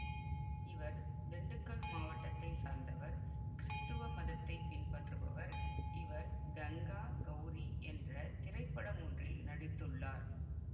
இவர் திண்டுக்கல் மாவட்டத்தை சார்ந்தவர் கிறிஸ்துவ மதத்தை பின்பற்றுபவர் இவர் கங்கா கௌரி என்ற திரைப்படமொன்றில் நடித்துள்ளார்